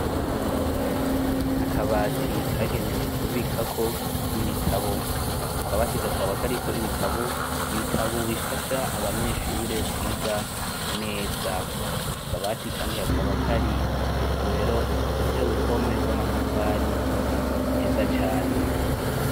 Akabati kagenewe kubikako ibitabo, ako kabati kakaba kariko ibitabo, ibitabo bifasha abanyeshure kwiga neza, ako kabati kandi kakaba kari mw'isomero ifise uruhome rw'amatafari meza cane.